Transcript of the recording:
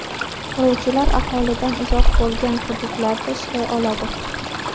Quruvchilar aholidan uzoq bo‘lgan hududlarda ishlay oladi.